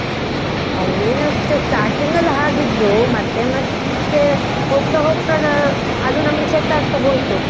ಅಲ್ಲಿ ಏನಷ್ಟು starting ಅಲ್ಲಿ ಹಾಗಿದ್ರು ಮತ್ತೆ ಮತ್ತೆ, ಹೋಗ್ತಾ ಹೋಗ್ತಾ ಆ ಅದು ನಮ್ಗೆ set ಆಗ್ತಾ ಹೋಯ್ತು.